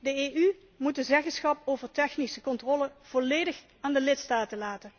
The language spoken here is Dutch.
De EU moet de zeggenschap over technische controle volledig aan de lidstaten laten.